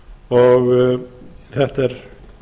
og þetta er